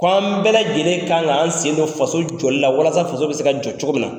K'o an bɛɛ lajɛlen kan k'an sen don faso jɔli la walasa faso bɛ se ka jɔ cogo min na.